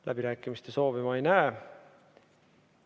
Läbirääkimiste soovi ma ei näe.